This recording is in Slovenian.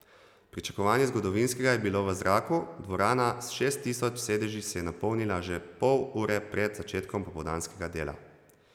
Pričakovanje zgodovinskega je bilo v zraku, dvorana s šest tisoč sedeži se je napolnila že pol ure pred začetkom popoldanskega dela.